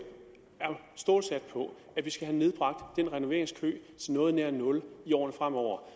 er stålsat på at vi skal have nedbragt den renoveringskø til noget nær nul i årene fremover